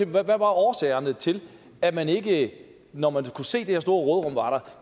hvad var årsagerne til at man ikke når man kunne se at det her store